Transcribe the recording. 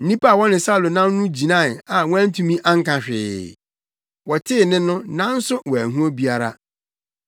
Nnipa a wɔne Saulo nam no gyinae a wɔantumi anka hwee; wɔtee nne no, nanso wɔanhu obiara.